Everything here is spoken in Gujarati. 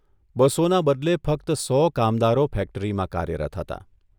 બસોના બદલે ફક્ત સો કામદારો ફેક્ટરીમાં કાર્યરત હતા.